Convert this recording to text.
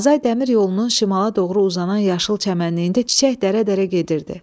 Azay dəmir yolunun şimala doğru uzanan yaşıl çəmənliyində çiçək dərə-dərə gedirdi.